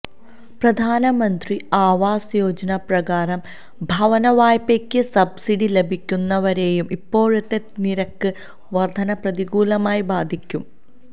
പ്രധാനമന്ത്രി ആവാസ് യോജന പ്രകാരം ഭവന വായ്പയ്ക്ക് സബ്സിഡി ലഭിക്കുന്നവരെയും ഇപ്പോഴത്തെ നിരക്ക് വർദ്ധന പ്രതികൂലമായി ബാധിക്കും